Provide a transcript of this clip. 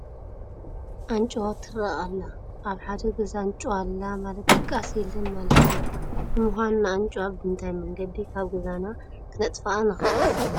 ኣንጭዋ ትርአ ኣላ፡፡ ኣብ ሓደ ገዛ ኣንጭዋ ኣላ ማለት ድቃስ የለን ማለት እዩ፡፡ ንምኳኑ ንኣንጭዋ ብምንታይ መንገዲ ካብ ገዛና ክነጥፍኣ ንኽእል?